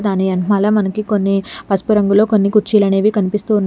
దాని ఎనక్మాల మనకి కొన్ని పసుపు రంగులో కుర్చీలు అనేవి కనిపిస్తూ ఉన్నాయి.